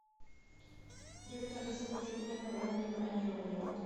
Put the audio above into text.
привет алиса хочу узнать про раннее бронирование в отеле